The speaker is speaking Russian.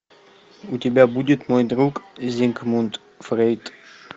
у тебя будет мой друг зигмунд фрейд